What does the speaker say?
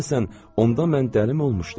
Görəsən onda mən dəlim olmuşdum?